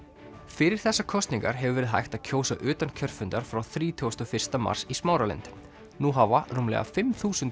fyrir þessar kosningar hefur verið hægt að kjósa utan kjörfundar frá þrítugasta og fyrsta mars í Smáralind nú hafa rúmlega fimm þúsund